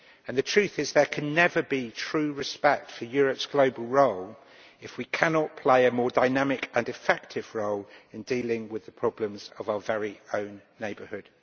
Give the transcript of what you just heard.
The truth is that there can never be true respect for Europe's global role if we cannot play a more dynamic and effective role in dealing with the problems of our very own neighbourhood.